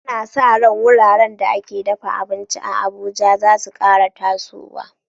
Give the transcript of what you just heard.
Ana sa ran wuraren da ake dafa abinci a Abuja za su kara tasowa.